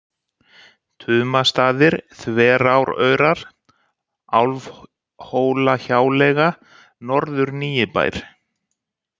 Tumastaðir, Þveráraurar, Álfhólahjáleiga, Norður-Nýibær